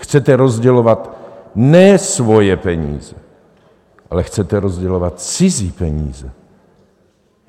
Chcete rozdělovat ne svoje peníze, ale chcete rozdělovat cizí peníze!